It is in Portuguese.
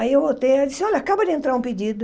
Aí eu voltei e ela disse, olha, acaba de entrar um pedido.